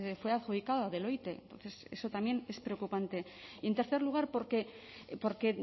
fue adjudicado a deloitte entonces eso también es preocupante y en tercer lugar porque